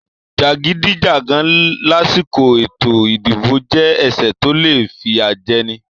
Jagidijagan lásìkò ètò ìdìbò jẹ ẹsẹ tó le fiyajẹni.